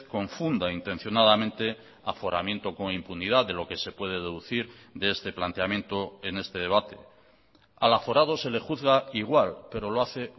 confunda intencionadamente aforamiento con impunidad de lo que se puede deducir de este planteamiento en este debate al aforado se le juzga igual pero lo hace